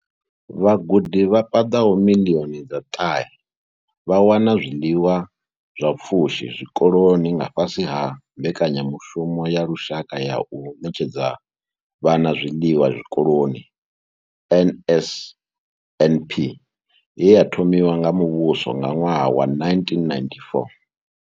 Vhagudi vha paḓaho miḽioni dza ṱahe vha wana zwiḽiwa zwa pfushi zwikoloni nga fhasi ha mbekanyamushumo ya lushaka ya u ṋetshedza vhana zwiḽiwa zwikoloni NSNP ye ya thomiwa nga muvhuso nga ṅwaha wa 1994.